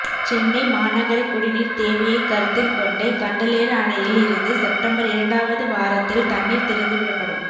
சென்னை மாநகர குடிநீா் தேவையைக் கருத்தில் கொண்டு கண்டலேறு அணையில் இருந்து செப்டம்பா் இரண்டாவது வாரத்தில் தண்ணீா் திறந்து விடப்படும்